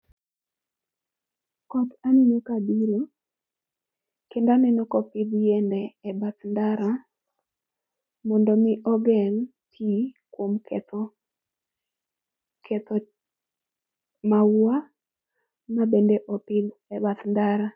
Koth aneno kabiro kendo aneno kopidh yiende e bath ndara mondo omi ogeng' pi kuom ketho maua mabende opidh e bath ndara.